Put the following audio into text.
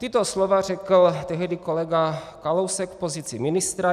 Tato slova řekl tehdy kolega Kalousek v pozici ministra.